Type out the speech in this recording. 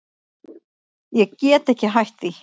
Ég get ekki hætt því.